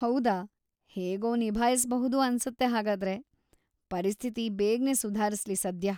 ಹೌದಾ, ಹೇಗೋ ನಿಭಾಯ್ಸ್‌ಬಹುದು ಅನ್ಸತ್ತೆ ಹಾಗಾದ್ರೆ; ಪರಿಸ್ಥಿತಿ ಬೇಗ್ನೇ ಸುಧಾರ್ಸ್ಲಿ ಸದ್ಯ.